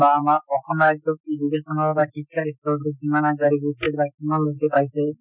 বা আমাৰ অসম ৰাজ্যৰ education কিমান আগবাঢ়ি গৈছে বা কিমান লোকে পাইছে